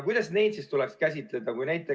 Kuidas siis neid tuleks käsitleda?